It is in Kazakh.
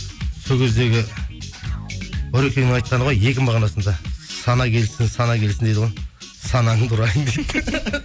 сол кездегі нұрекеңнің айтқаны ғой екі мағынасында сана келсін сана келсін дейді ғой санаңды ұрайын дейді